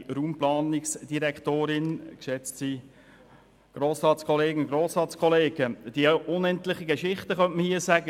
Man könnte dies als unendliche Geschichte bezeichnen.